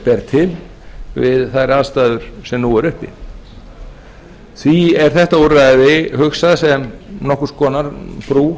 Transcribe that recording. ber til við þær aðstæður sem nú eru uppi því er þetta úrræði hugsað sem nokkurs konar brú